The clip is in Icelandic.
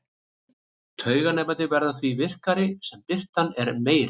Tauganemarnir verða því virkari sem birtan er meiri.